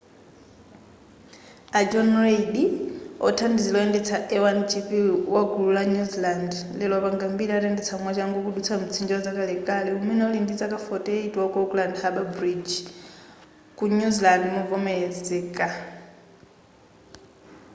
a john reid wothandizira woyendetsa a1gp wagulu la new zealand lero wapanga mbiri atayendetsa mwachangu kudutsa mtsinje wazakalekale umene uli ndi zaka 48 wa auckland harbour bridge ku new zealand movomelezeka